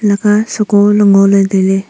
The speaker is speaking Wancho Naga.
leka seko le ngoley tailey.